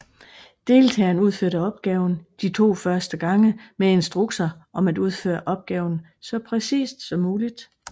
Deltageren udførte opgaven de første to gange med instrukser om at udføre opgaven så præcist som muligt